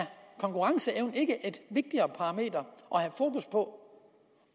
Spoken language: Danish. konkurrenceevnen ikke et vigtigere parameter at have fokus på